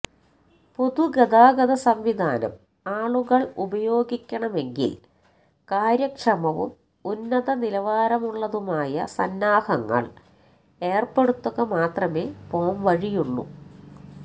പൊതുഗതാഗത സംവിധാനം ആളുകള് ഉപയോഗിക്കണമെങ്കില് കാര്യക്ഷമവും ഉന്നത നിലവാരമുള്ളതുമായ സന്നാഹങ്ങള് ഏര്പ്പെടുത്തുക മാത്രമേ പോംവഴിയുള്ളൂ